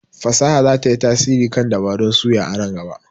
fasaha za ta yi tasiri kan dabarun suya a nan gaba.